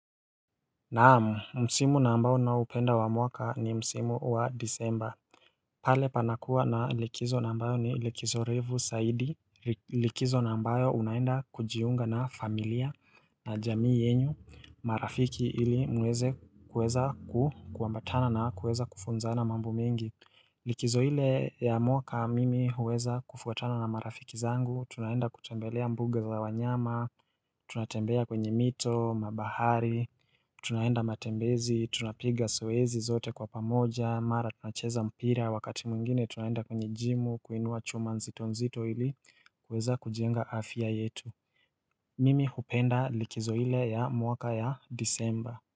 Naamu, msimu na ambao naupenda wa mwaka ni msimu wa disemba. Pale panakuwa na likizo na ambayo ni likizo refu zaidi, likizo na ambayo unaenda kujiunga na familia na jamii yenyu, marafiki ili mweze kuweza ku kuambatana na kuweza kufunzana mambo mengi. Likizo ile ya mwaka mimi huweza kufuatana na marafiki zangu, tunaenda kutembelea mbuga za wanyama, tunatembea kwenye mito, mabahari Tunaenda matembezi, tunapiga soezi zote kwa pamoja, mara tunacheza mpira, wakati mungine tunaenda kwenye jimu, kuinua chuma nzitonzito hili, kweza kujienga afia yetu Mimi hupenda likizo ile ya mwaka ya disemba.